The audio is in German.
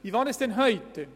Wie war es denn bisher?